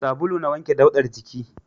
Sabulu na wanke daudar jiki